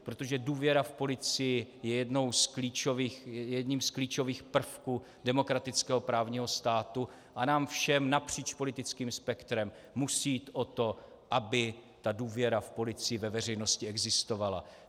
Protože důvěra v policii je jedním z klíčových prvků demokratického právního státu a nám všem napříč politickým spektrem musí jít o to, aby ta důvěra v policii ve veřejnosti existovala.